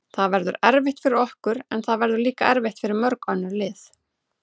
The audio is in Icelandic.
Það verður erfitt fyrir okkur, en það verður líka erfitt fyrir mörg önnur lið.